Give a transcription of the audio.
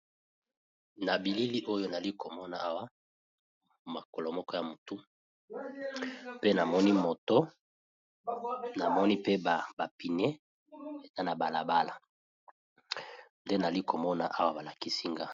Na bilili oyo nazalikomona Awa mokolo moko ya mutu pe na moto pe na ba pneus ezali na balabala ndenazali komona awa balakisi ngai.